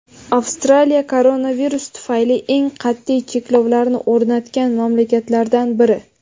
Avstraliya - koronavirus tufayli eng qat’iy cheklovlarni o‘rnatgan mamlakatlardan biri.